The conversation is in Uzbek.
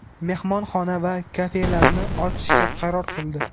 mehmonxona va kafelarni ochishga qaror qildi.